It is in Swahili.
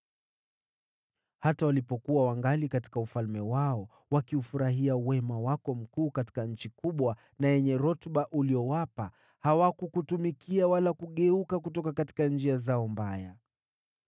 Hata walipokuwa wangali katika ufalme wao, wakiufurahia wema wako mkuu katika nchi kubwa na yenye rutuba uliyowapa, hawakukutumikia wala kugeuka kutoka njia zao mbaya.